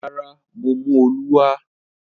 Rárá, mo mú “olú” wá.